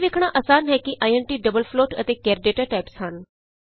ਇਹ ਵੇਖਣਾ ਅਸਾਨ ਹੈ ਕਿ ਆਈਐਨਟੀ ਡਬਲ ਫਲੋਟ ਅਤੇ ਕੈਰ ਡਾਟਾ ਟਾਈਪਸ ਹਨ